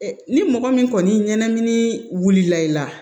Ni mɔgɔ min kɔni ɲanamini la i la